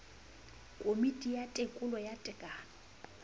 komiti ya tekolo ya tekano